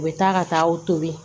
U bɛ taa ka taa aw toli